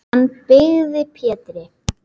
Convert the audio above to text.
Hann byggði Pétri